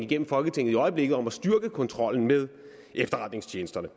gennem folketinget i øjeblikket om at styrke kontrollen med efterretningstjenesterne